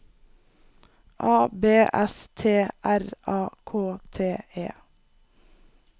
A B S T R A K T E